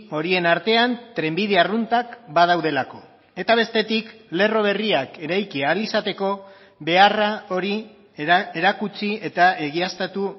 horien artean trenbide arruntak badaudelako eta bestetik lerro berriak eraiki ahal izateko beharra hori erakutsi eta egiaztatu